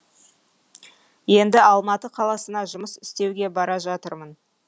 енді алматы қаласына жұмыс істеуге бара жатырмын